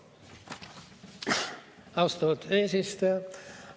Austatud eesistuja!